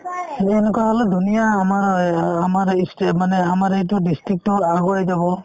এই সেনেকুৱা হ'লে ধুনীয়া আমাৰো এই আমাৰ ই sta মানে আমাৰ এইটো district তো অ আগুৱাই যাব